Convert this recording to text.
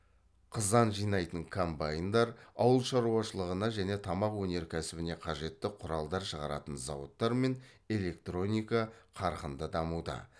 қызан жинайтын комбайндар ауыл шаруашылығына және тамақ өнеркәсібіне қажетті құралдар шығаратын зауыттар мен электроника қарқынды дамуда